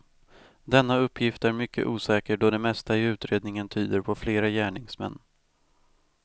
Denna uppgift är mycket osäker då det mesta i utredningen tyder på flera gärningsmän.